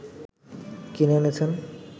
কিনে এনেছেন